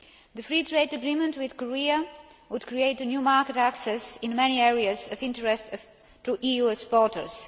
The free trade agreement with Korea would create new market access in many areas of interest to EU exporters.